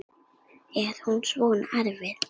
Er hún svona erfið?